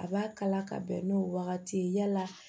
A b'a kala ka bɛn n'o wagati ye yala